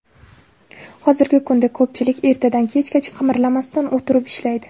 Hozirgi kunda ko‘pchilik ertadan kechgacha qimirlamasdan o‘tirib ishlaydi.